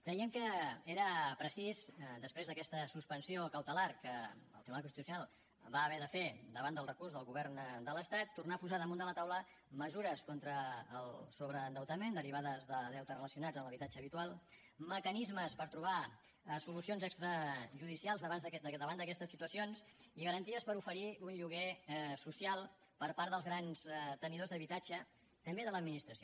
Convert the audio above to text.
creiem que era necessari després d’aquesta suspensió cautelar que el tribunal constitucional va haver de fer davant del recurs del govern de l’estat tornar a posar damunt de la taula mesures contra el sobreendeutament derivades de deutes relacionats amb l’habitatge habitual mecanismes per trobar solucions extrajudicials davant d’aquestes situacions i garanties per oferir un lloguer social per part dels grans tenidors d’habitatge també de l’administració